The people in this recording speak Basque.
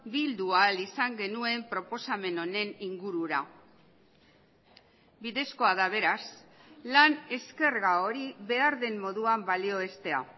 bildu ahal izan genuen proposamen honen ingurura bidezkoa da beraz lan eskerga hori behar den moduan balioestea